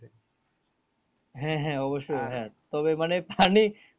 হ্যাঁ হ্যাঁ অবশ্যই তবে মানে পানি